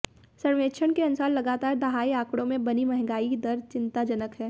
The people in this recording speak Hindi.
सर्वेक्षण के अनुसार लगातार दहाई आंकड़ों में बनी महंगाई दर चिंताजनक है